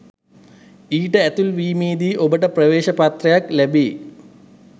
ඊට ඇතුළු වීමේදී ඔබට ප්‍රවේශ පත්‍රයක්‌ ලැබෙ